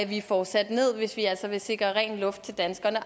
vi får sat ned hvis vi altså vil sikre ren luft til danskerne